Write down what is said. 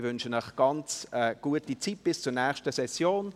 Ich wünsche Ihnen eine ganz gute Zeit bis zur nächsten Session.